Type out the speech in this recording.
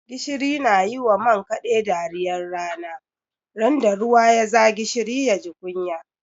Gishiri na yi wa man kaɗe dariyar rana, ran da ruwa ya za gishiri ya ji kunya.